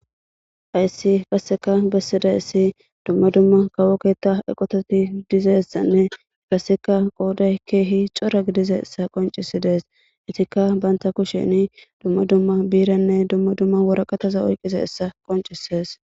Hayssi kasseka bessiday issi dumma dumma kawoketa eqototi dizessanne kaseka qooday keehi cora gidize issa qoncisi dees itikka banta kusheni dumma dumma biiranne dumma dumma woraqataza oyqise issa qoncisees